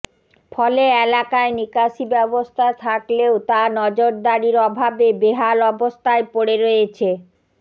ফলে এলাকায় নিকাশি ব্যবস্থা থাকলেও তা নজদারির অভাবে বেহাল অবস্থায় পড়ে রয়েছে